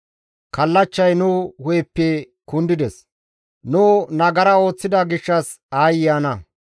Kallachchay nu hu7eppe kundides; nu nagara ooththida gishshas aayye ana!